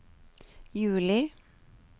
juli